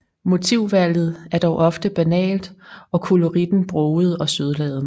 Motivvalget er dog ofte banalt og koloritten broget og sødladen